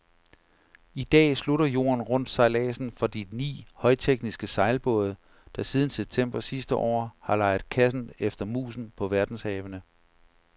I dag slutter jorden rundt sejladsen for de ni højtekniske sejlbåde, der siden september sidste år, har leget katten efter musen på verdenshavene.